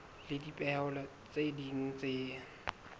le dipehelo tse ding tse